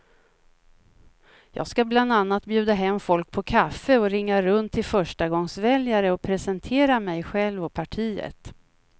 Jag ska bland annat bjuda hem folk på kaffe och ringa runt till förstagångsväljare och presentera mig själv och partiet.